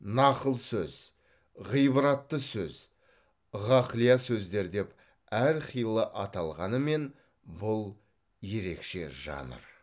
нақыл сөз ғибратты сөз ғақлия сөздер деп әрқилы аталғанымен бұл ерекше жанр